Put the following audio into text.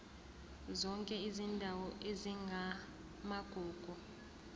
zonke izindawo ezingamagugu